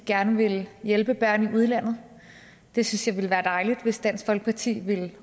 gerne vil hjælpe børn i udlandet det synes jeg ville være dejligt hvis dansk folkeparti ville